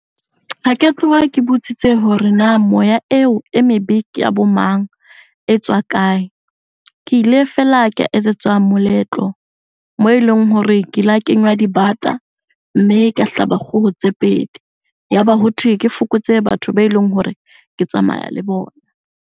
Ha ke a tloha ke botsitse hore na moya eo e mebe ke ya bo mang? E tswa kae? Ke ile feela ka etsetswa moletlo moo eleng hore ke la kenywa dibata mme ka hlaba kgoho tse pedi. Yaba hothwe ke fokotse batho be leng hore ke tsamaya le bona.